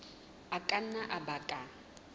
a ka nna a baka